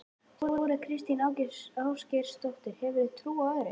Þóra Kristín Ásgeirsdóttir: Hefurðu trú á öðru?